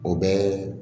O bɛ